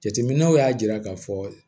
Jateminɛw y'a jira k'a fɔ